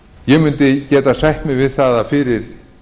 ég mundi geta sætt mig við að fyrir